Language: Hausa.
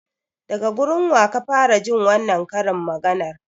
Daga gurin waka fara jin wannan karin maganar?